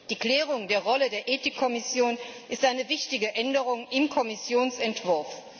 Die Klärung der Rolle der Ethik Kommission ist eine wichtige Änderung im Kommissionsentwurf.